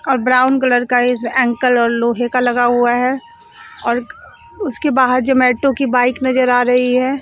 और brown colour का इस एंकल लोहे का लगा हुआ है और क उसके बाहर जोमैटो की बाइक नजर आ रही है।